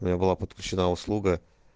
у меня была подключена услуга